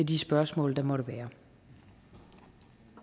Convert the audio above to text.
de spørgsmål der måtte være